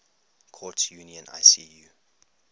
courts union icu